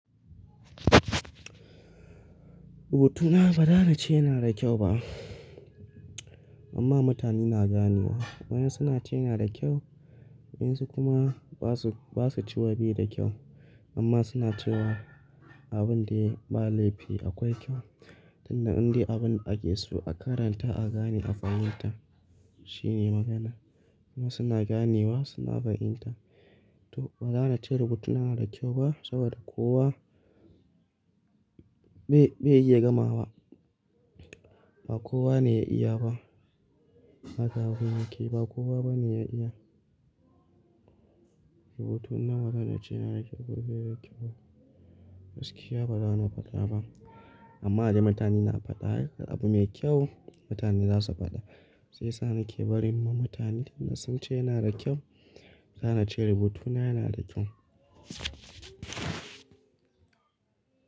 Rubutu na bara nace yana da kyau ba. Amma mutane na ganewa. Wa'yansu na ce yana da kyau, wa'yansu kuma basu, basu cewa bai da kyau amma suna cewa abin dai, ba laifi akwai kyau. Tunda inda abin ake so a karanta, a gane, a fahimta, shine magana. Kuma suna ganewa, suna fahimta. Toh, bazanace rubutuna yana da kyau ba, saboda kowa bai iya gamawa. Ba kowa ne ya iya ba. Haka abun yake. Ba kowa bane ya iya. Rubutuna bazan iyace yana da kyau ko bai da kyau ba. Gaskiya bazani faɗa ba. Amma dai mutane na faɗa, abin mai kyau mutane zasu faɗa. Shi yasa nake bari ma mutane tunda sunce yana da kyau, zanace rubutuna yana da kyau.